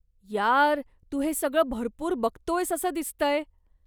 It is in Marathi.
यार, तू हे सगळं भरपूर बघतोयस असं दिसतंय.